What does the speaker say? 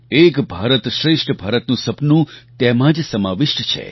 એક ભારતશ્રેષ્ઠ ભારતનું સપનું તેમાં જ સમાવિષ્ટ છે